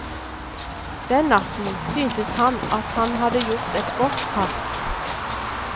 Den natten syntes han at han hadde gjort et godt kast.